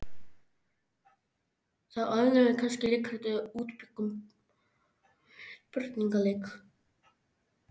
Þá æfðum við kannski leikrit eða útbjuggum spurningaleik.